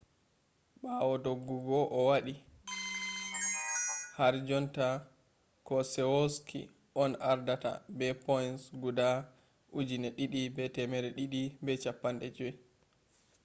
ɓawo doggugo o waɗi harjotta keselowski on ardata be points guda 2,250